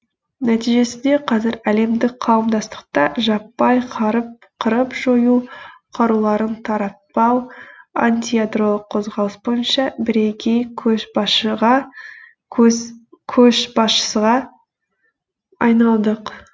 нәтижесінде қазір әлемдік қауымдастықта жаппай қырып жою қаруларын таратпау антиядролық қозғалыс бойынша бірегей көшбасшыға айналдық